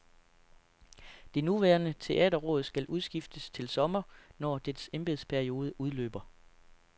Det nuværende teaterråd skal udskiftes til sommer, når dets embedsperiode udløber.